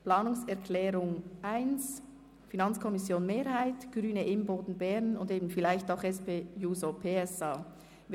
Wir stimmen ab über die Planungserklärung 1 der FiKo-Mehrheit sowie der Grünen und vielleicht auch der SP-JUSO-PSA-Fraktion ab.